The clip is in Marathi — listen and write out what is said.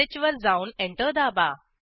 fileattrib2sh वर जाऊन एंटर दाबा